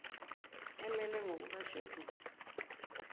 emelwe ngokuka sheduli